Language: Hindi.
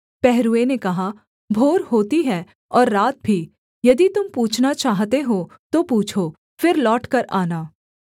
पहरूए ने कहा भोर होती है और रात भी यदि तुम पूछना चाहते हो तो पूछो फिर लौटकर आना